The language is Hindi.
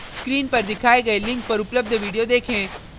screen पर दिखाए गए link पर उपलब्ध video देखें